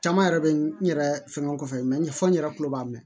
Caman yɛrɛ bɛ n yɛrɛ fɛn o fɛ mɛ n y'a fɔ n yɛrɛ kulo b'a mɛn